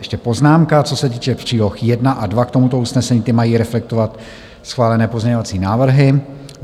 Ještě poznámka, co se týče příloh 1 a 2 k tomuto usnesení - ty mají reflektovat schválené pozměňovací návrhy.